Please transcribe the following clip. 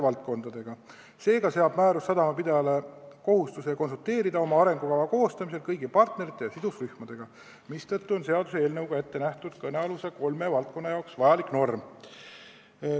Määrus seab sadamapidajale kohustuse konsulteerida oma arengukava koostamisel kõigi partnerite ja sidusrühmadega ning seetõttu on seaduseelnõus ette nähtud kõnealuse kolme valdkonna jaoks vajalik norm.